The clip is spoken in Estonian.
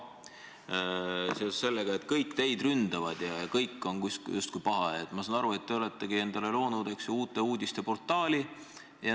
Ent seoses sellega, et kõik teid ründavad ja kõik on justkui pahad, ma saan aru, te oletegi loonud Uute Uudiste portaali.